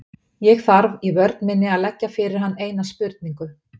Ég þarf í vörn minni að leggja fyrir hann eina spurningu.